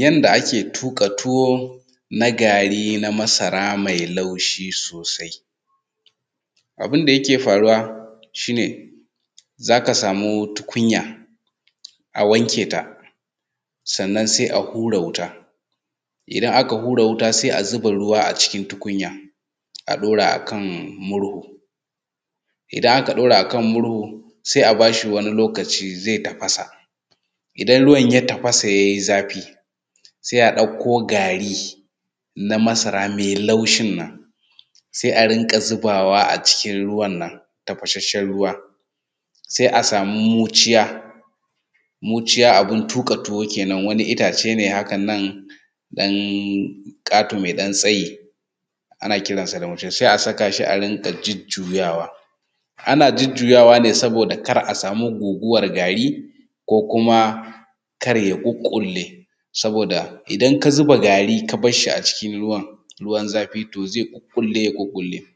Yanda ake tuƙa tuwon gari na masara mai laushi sosai. Abun da yake faruwa shi ne, za ka samu tukunya a wanke ta, sannan sai a hura wuta, idan aka hura wuta sai a zuba ruwa a cikin tukunya a ɗora a kan murhu. Idan aka ɗora a kan murhu sai a ba shi wani lokaci zai tafasa. Idan ruwan tafasa yayi zafi, sai a ɗauko gari na masara mai laushin nan, sai a rinƙa zubawa a cikin ruwan nan tafasheshe, sai a samu muciya abun tuƙa tuwo kenan wani ice ne hakan nan ƙato mai ɗan tsayi, ana kiran shi da muciya, sai a saka shi a rinƙa jujjuyawa, ana jujjuyawa ne saboda kar a samu goguwar gari ko kuma kar ya ƙuƙƙule saboda idan ka zuba gari ka bar shi a cikin ruwan zafi zai ƙuƙƙule ya ƙuƙƙule.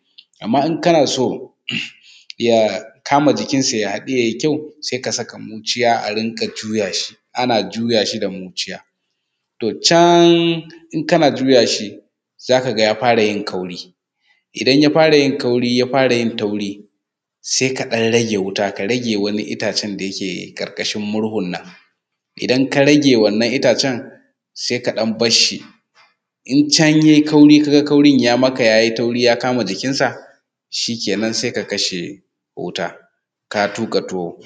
Amma in kana so ya kama jikinsa ya haɗu ya yi kyau sai ka saka muciya a rinƙa juyashi, ana jujjuyawa wa da muciya. To can in kana juya shi za ka ga ya fara yin kauri. Idan ya fara yin ƙauri ya fara yin tauri, sai ka ɗan rage wuta sai ka rage itacen da yake ƙarƙashin murhun nan. Idan ka rage wannan itacen sai ka ɗan bar shi. In can yayi kauri ka ga kaurin ya yi tauri ya kama jikinsa, shikenan sai ka kashe wuta ka tuƙa tuwo.